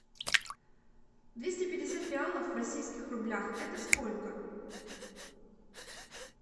двести пятьдесят реалов в российских рублях это сколько